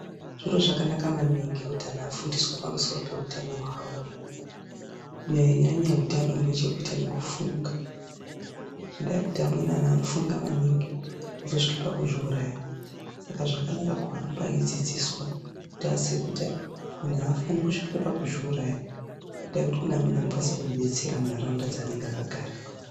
Zviro zvakanaka maningi kuti anhu afundiswe pamusoro peutano hwawo, Kunyanyanyanya utano hunechekuita nekufunga ngendaa yekuti amweni anhu anofunga maningi kuzosvika pakuzviuraya Saka zvakanaka kuhamba eidzidziswa kuti aziye kuti munhu afani kusvika pakudziuraya ngendaa yekuti kune amweni anokwanisa kumudetsera munharaunda dzanenge akagara.